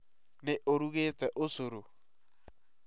Nĩ ũrũgete ucoro?